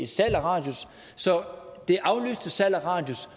salg af radius så det aflyste salg af radius